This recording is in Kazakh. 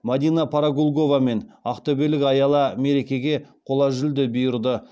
мадина парагулгова мен ақтөбелік аяла мерекеге қола жүлде бұйырды